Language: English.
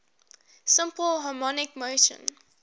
simple harmonic motion